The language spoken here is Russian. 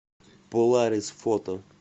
поларис фото